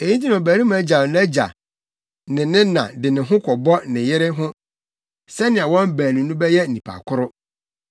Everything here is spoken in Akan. Eyi nti na ɔbarima gyaw nʼagya ne ne na de ne ho kɔbɔ ne yere ho sɛnea wɔn baanu no bɛyɛ nnipa koro.